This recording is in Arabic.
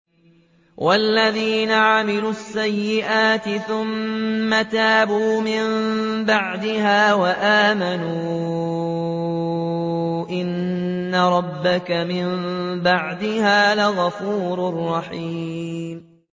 وَالَّذِينَ عَمِلُوا السَّيِّئَاتِ ثُمَّ تَابُوا مِن بَعْدِهَا وَآمَنُوا إِنَّ رَبَّكَ مِن بَعْدِهَا لَغَفُورٌ رَّحِيمٌ